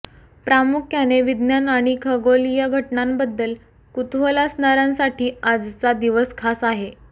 प्रामुख्याने विज्ञान आणि खगोलीय घटनांबद्दल कुतूहल असणार्यांसाठी आजचा दिवस खास आहे